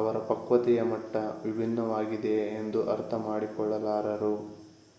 ಅವರ ಪಕ್ವತೆಯ ಮಟ್ಟ ವಿಭಿನ್ನವಾಗಿದೆಯೇ ಎಂದು ಅರ್ಥ ಮಾಡಿಕೊಳ್ಳಲಾರರು